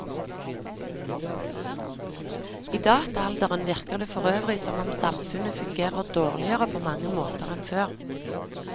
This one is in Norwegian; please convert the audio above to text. I dataalderen virker det forøvrig som om samfunnet fungerer dårligere på mange måter enn før.